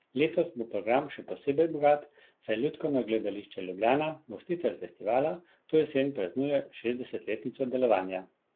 Letos bo program še posebej bogat, saj Lutkovno gledališče Ljubljana, gostitelj festivala, to jesen praznuje šestdesetletnico delovanja.